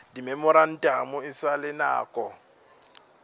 dimemorantamo e sa le nako